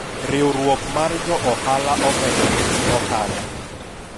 riwruok mar jo ohala omedo nigi ohala